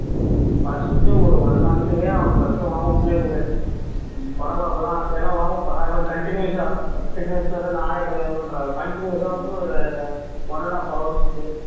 first ஒரு one month க்கே அவனை first warm up ளையே விடு உடம்பு அப்பதா ஏன்னா warm up அதோட continuous ஆ fitness லதான் நானே பண்றேன் continuous ஆ வந்து ஒரு one and half hours க்கு